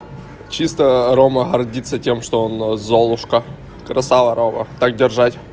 чисто рома гордится тем что он золушка красава рома так держать